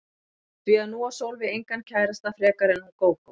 Því að nú á Sólveig engan kærasta frekar en hún Gógó.